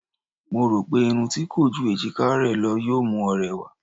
Mo rò pé irun tí kò ju èjiká rẹ lọ yóò mú ọ rẹwà.